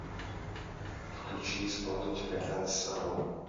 включи исполнителя гансэлло